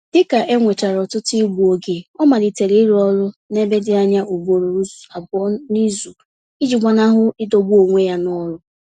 Dịka enwechara ọtụtụ igbu oge, ọ malitere ịrụ ọrụ n'ebe dị anya ugboro abụọ n'izu iji gbanahụ idọgbu onwe ya n'ọlụ